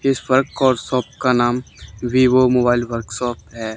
इस वर्क और शॉप का नाम वीवो मोबाइल वर्कशॉप है।